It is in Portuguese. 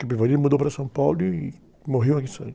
Capivari mudou para São Paulo e morreu